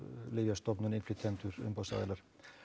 Lyfjastofnun innflytjendur umboðsaðilar